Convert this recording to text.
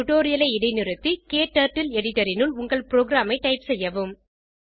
டுடோரியலை இடைநிறுத்து க்டர்ட்டில் எடிட்டர் இனுள் உங்கள் புரோகிராம் ஐ டைப் செய்யவும்